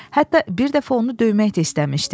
Hətta bir dəfə onu döymək də istəmişdi.